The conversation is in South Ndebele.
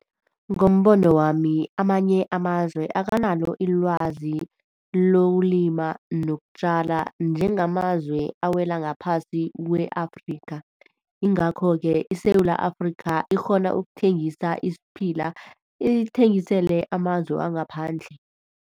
Ngombono wami amanye amazwe akanalo ilwazi lokulima nokutjala njengamazwe awela ngaphasi kwe-Afrika ingakho-ke iSewula Afrika ikghona ukuthengisa isiphila ithengisele amazwe wangaphandle.